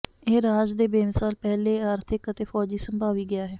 ਇਹ ਰਾਜ ਦੇ ਬੇਮਿਸਾਲ ਪਹਿਲੇ ਆਰਥਿਕ ਅਤੇ ਫੌਜੀ ਸੰਭਾਵੀ ਗਿਆ ਹੈ